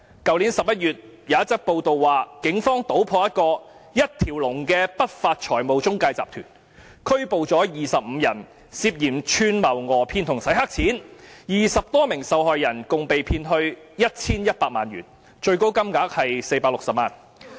去年11月，有一則報道指出，警方搗破一個一條龍的不法財務中介集團，拘捕了25人，涉嫌串謀訛騙和"洗黑錢 "，20 多名受害人共被騙去 1,100 萬元，最高金額是460萬元。